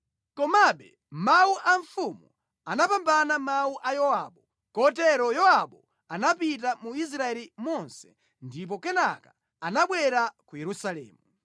Komabe mawu a mfumu anapambana mawu a Yowabu, kotero Yowabu anapita mu Israeli monse ndipo kenaka anabwera ku Yerusalemu.